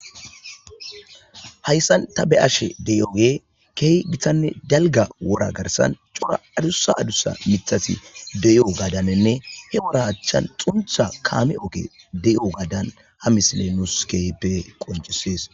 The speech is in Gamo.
Hayssan ta be7ashe deyooge keeh gitanne dalga wora garsan cora adusa adusa mithasi deyo gadanenne he wora achchan xuntha kaame oke de7ogadan ha misile nus keehippe qoncisees.